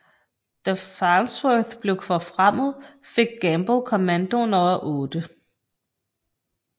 Da Farnsworth blev forfremmet fik Gamble kommandoen over 8